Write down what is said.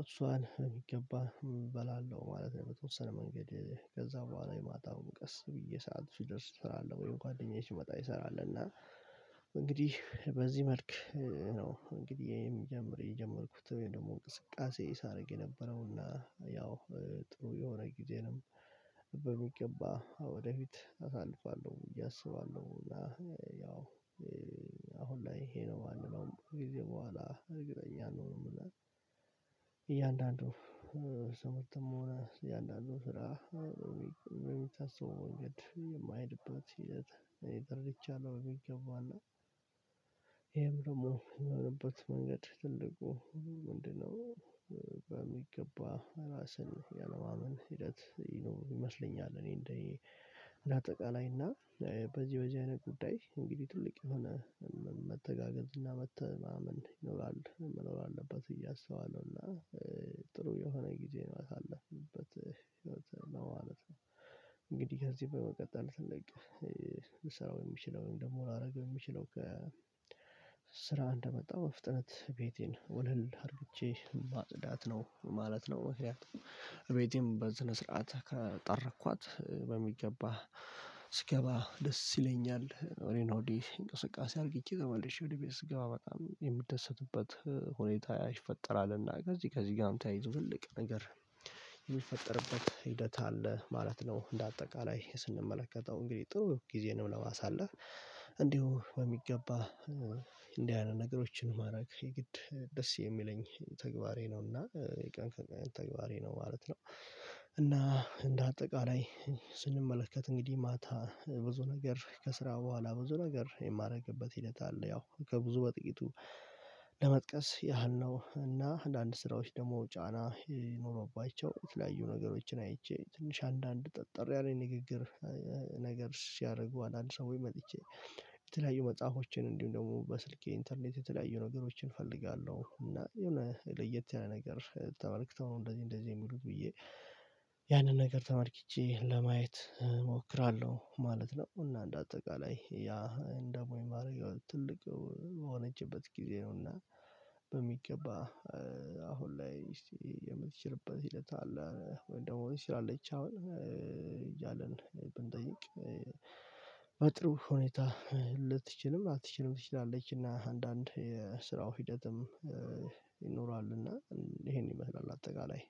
እሷን በሚገባ እበላለሁ ማለት ነው። የተወሰነ መንገድ ከዛ በኋላ የማታውን ቀስ ብዬ ሰዓት ሲደርስ እሰራለሁ ወይም ጓደኛዬ ሲመጣ ይሰራል። እና እንግዲህ በዚህ መልክ ነው እንግዲህ የምጀምር የጀመርኩት ወይም ደግሞ እንቅስቃሴ ሳደርግ የነበረው እና ያው ጥሩ የሆነ ጊዜንም በሚገባ ወደፊት አሳልፋለሁ በዬ እስባለሁ። እና ያው አሁን ላይ ይሄ ነው የማንነው ብዙ ጊዜ በኋላ እግረኛ ነው። የምለው ሰው ተሞና እያንዳንዱ ስራ የማይድበት ሂደት እኔ ተርድቻለሁ በግልጽ እገባለሁ። ይሄም ደግሞ የሆነበት መንገድ ትልቁ ምንድነው? በሚገባ ራስን ያለማመን ሂደት ይኖር ይመስለኛል። እኔ እንደ አጠቃላይ እና በዚህ በዚህ አይነት ጉዳይ እንግዲህ ትልቅ የሆነ መተጋገዝ እና መተማመን ይኖራል መኖር አለበት ብዬ አስባለሁ። እና ጥሩ የሆነ ጊዜ ነው ያለህበት ህይወት ነው ማለት ነው። እንግዲህ ከዚህ በመቀጠል ትልቅ ስራ የሚችለውን ደግሞ ላደርግ የሚችለው ከ ስራ እንደመጣ በፍጥነት ቤቴን ወለል አድርጌ ማጽዳት ነው ማለት ነው። ምክንያቱም ቤቴን በስነስርዓት ካጠረኳት በሚገባ ስገባ ደስ ይለኛል። ወዲሀና ወዲህ እንቅስቃሴ አርግቼ ተመልሼ ወደ ቤት ስገባ በጣም የምደሰትበት ሁኔታ ይፈጠራልና ከዚህ ከዚህ ጋር ተያይዞ ትልቅ ነገር የሚፈጠርበት ሂደት አለ ማለት ነው። እንደ አጠቃላይ ስንመለከተው እንግዲህ ጥሩ ጊዜንም ለማሳለፍ እንዲሁ በሚገባ እንዲህ አይነት ነገሮችን ማድረግ የግድ ደስ የሚለኝ ተግባሬ ነውና የቀን ተግባሬ ነው ማለት ነው። እና እንደ አጠቃላይ ስንመለከት እንግዲህ ማታ ብዙ ነገር ከስራው በኋላ ብዙ ነገር የማደርግበት ሂደት አለ። ያው ከብዙ በጥቂቱ ለመጥቀስ ያህል ነው። እና አንዳንድ ስራዎች ደግሞ ጫና ይኖረውባቸው የተለያዩ ነገሮችን አይቼ ትንሽ አንዳንድ ጠጠር ያኔ ንግግር ነገር ሲያደርጉ አንድ ሰው ወይ መጥቼ የተለያዩ መጽሐፎችን እንዲሁም ደግሞ በስልኬ ኢንተርኔት የተለያዩ ነገሮችን እፈልጋለሁ። እና የሆነ ለየት ያለ ነገር ተመልክተው እንደዚህ እንደዚህ የሚሉት ብዬ ያንን ነገር ተመልክቼ ለማየት እሞክራለሁ ማለት ነው። እና እንደ አጠቃላይ ያ እንደ ሞይ ማድረግ ትልቅ በሆነችበት ጊዜ ነውና በሚገባ አሁን ላይ እስቲ የምትችልበት ሂደት አለ። ወይ ደግሞ ሲል አለች አሁን እያለን ብንጠይቅ? በጥሩ ሁኔታ ልትችልም ላትችልም ትችላለች። እና አንዳንድ የስራው ሂደትም ይኖራል እና ይሄን ይመስላል። አጠቃላይ